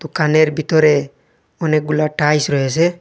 দোকানের ভিতরে অনেকগুলা টাইস রয়েছে।